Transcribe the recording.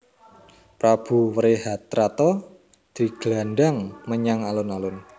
Prabu Wrehatrata diglandhang menyang alun alun